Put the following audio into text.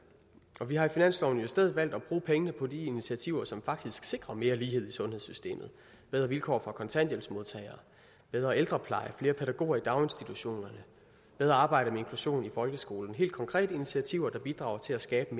og vi har i finansloven i stedet valgt at bruge pengene på de initiativer som faktisk sikrer mere lighed i sundhedssystemet bedre vilkår for kontanthjælpsmodtagere bedre ældrepleje flere pædagoger i daginstitutionerne bedre arbejde med inklusion i folkeskolen helt konkrete initiativer der bidrager til at skabe